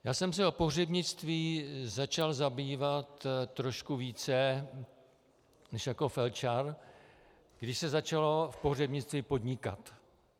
Já jsem se o pohřebnictví začal zajímat trochu více než jako felčar, když se začalo v pohřebnictví podnikat.